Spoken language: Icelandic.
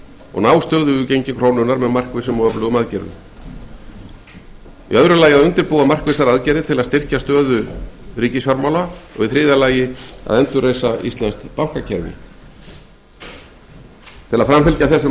og ná stöðugu gengi krónunnar með markvissum og öflugum aðgerðum í öðru lagi að undirbúa markvissar aðgerðir til að styrkja stöðu ríkissjóðs og í þriðja lagi að endurreisa íslenskt bankakerfi til að framfylgja þessum